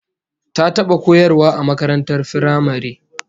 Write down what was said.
Ta taba koyarwa a makarantar firamare